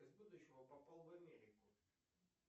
из будущего попал в америку